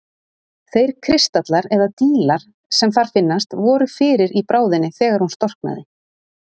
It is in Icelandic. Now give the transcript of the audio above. Þeir kristallar, eða dílar, sem þar finnast voru fyrir í bráðinni þegar hún storknaði.